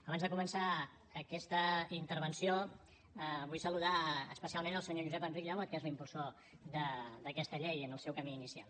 abans de començar aquesta intervenció vull saludar especialment el senyor josep enric llebot que és l’impulsor d’aquesta llei en el seu camí inicial